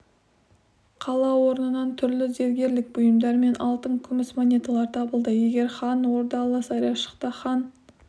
қала орнынан түрлі зергерлік бұйымдар мен алтын күміс монеталар табылды егер хан ордалы сарайшықта хан